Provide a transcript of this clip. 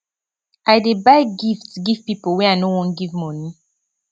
i dey buy gift give pipo wey i no wan give moni